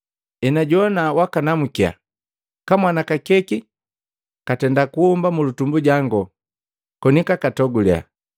Enajowana wakanamukya, kamwana kakeki kwaatenda kuhomba mulutumbu jangu koni kwaatogule.